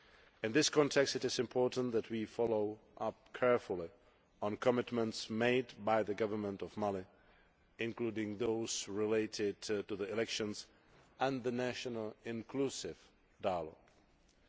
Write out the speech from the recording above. In this context, it is important that we follow up carefully on commitments made by the Government of Mali, including those related to the elections and a national inclusive dialogue.